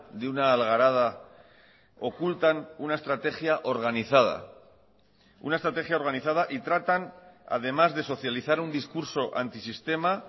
de una algarada ocultan una estrategia organizada una estrategia organizada y tratan además de socializar un discurso antisistema